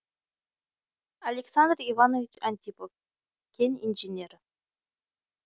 александр иванович антипов кен инженері